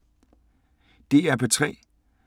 DR P3